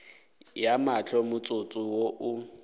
ya mahlo motsotso wo o